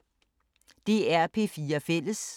DR P4 Fælles